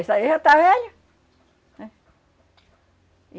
Isso aí já está velho, né?